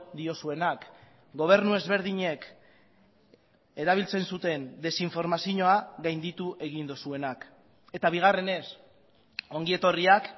diozuenak gobernu ezberdinek erabiltzen zuten desinformazioa gainditu egin duzuenak eta bigarrenez ongi etorriak